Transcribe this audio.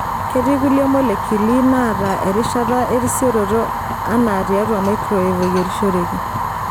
Ketii kulie molekuli naata erishata erisioroto anaa tiatua microwave oyirishoreki.